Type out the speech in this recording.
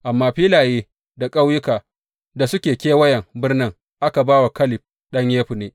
Amma filaye da ƙauyukan da suke kewayen birnin aka ba wa Kaleb ɗan Yefunne.